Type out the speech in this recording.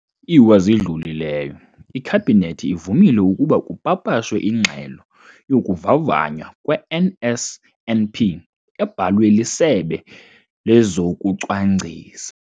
lwa zidlulileyo, iKhabhinethi ivumile ukuba kupapashwe iNgxelo yokuVavanywa kwe-NSNP, ebhalwe liSebe lezokuCwangcisa,